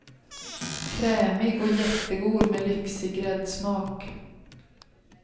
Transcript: Krämig och jättegod med lyxig gräddsmak.